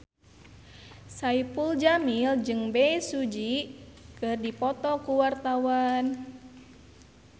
Saipul Jamil jeung Bae Su Ji keur dipoto ku wartawan